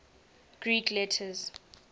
greek letters